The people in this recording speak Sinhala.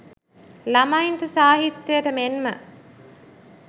ළමයින්ට සාහිත්‍යයට මෙන්ම